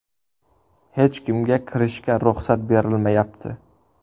Hech kimga kirishga ruxsat berilmayapti.